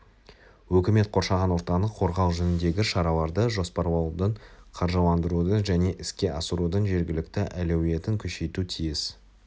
үкімет қоршаған ортаны қорғау жөніндегі шараларды жоспарлаудың қаржыландырудың және іске асырудың жергілікті әлеуетін күшейтуі тиіс